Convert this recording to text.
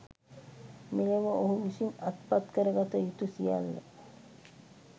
මෙලොව ඔහු විසින් අත්පත්කරගතයුතු සියල්ල